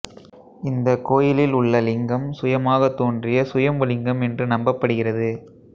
இந்த கோயிலில் உள்ள இலிங்கம் சுயமாகத் தோன்றிய சுயம்புலிங்கம் என்று நம்பப்படுகிறது